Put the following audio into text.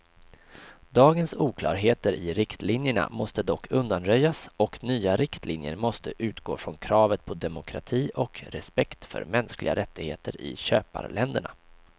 Dagens oklarheter i riktlinjerna måste dock undanröjas och nya riktlinjer måste utgå från kravet på demokrati och respekt för mänskliga rättigheter i köparländerna.